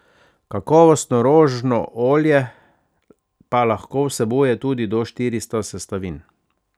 Kakovostno rožno olje pa lahko vsebuje tudi do štiristo sestavin.